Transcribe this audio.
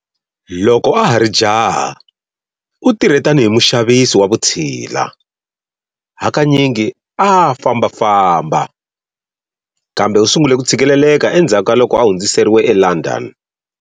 Loko a ha ri jaha, u tirhe tanihi muxavisi wa vutshila, hakanyingi a a fambafamba, kambe u sungule ku tshikileleka endzhaku ka loko a hundziseriwe eLondon.